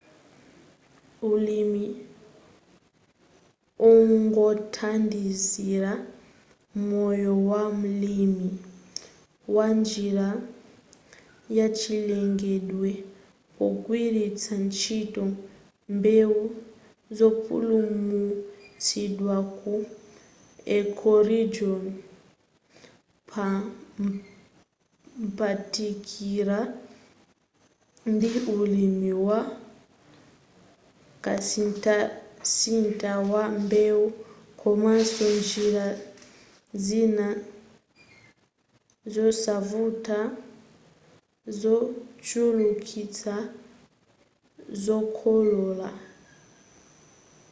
ulimi ongothandizira moyo wa mlimi wa njira yachilengedwe pogwiritsa ntchito mbewu zopulumutsidwa ku ecoregion pophatikiza ndi ulimi wa kasinthasintha wa mbewu komanso njira zina zosavuta zochulukitsa zokolola